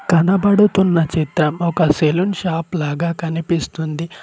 కనబడుతున్న చిత్రం ఒక సెలూన్ షాప్ లాగా కనిపిస్తుంది.